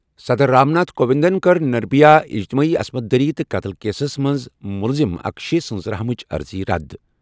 صدر رام ناتھ کووِنٛدَن کٔر نربھیا اجتماعی عصمت دری تہٕ قتل کیسَس منٛز مُلزِم اکشے سٕنٛز رحم چہِ عرضی رَد۔